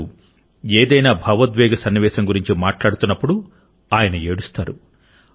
కొన్నిసార్లు ఏదైనా భావోద్వేగ సన్నివేశం గురించి మాట్లాడుతున్నప్పుడు ఆయన ఏడుస్తారు